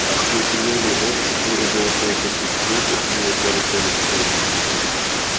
безымённые овцы куры золотой петух петя и поросёнок хрен